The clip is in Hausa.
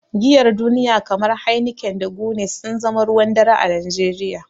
Giyar duniya kamar Heineken da Guinness sun zama ruwan dare a Najeriya.